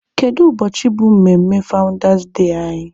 Kedu ụbọchị bụ mmemme fawụndas dee anyị?